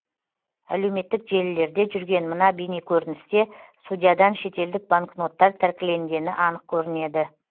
әлеуметтік желілерде жүрген мына бейнекөріністе судьядан шетелдік банкноттар тәркіленгені анық көрінеді